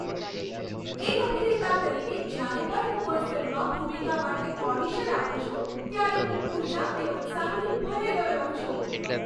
એક અભિનેતા તરીકે, જ્યારે પણ હું કોઈ ફિલ્મમાં ભૂમિકા માટે ઓડિશન આપું છું ત્યારે હું ઊર્જા અને ઉત્સાહથી ભરેલો રહું છું.